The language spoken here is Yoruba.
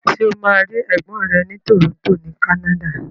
Ṣo ma rí ègbón rẹ ni Toronto ni Canada?